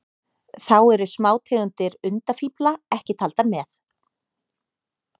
Þá eru smátegundir undafífla ekki taldar með.